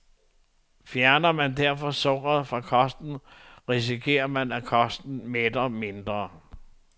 Fjerner man derfor sukkeret fra kosten, risikerer man, at kosten mætter mindre.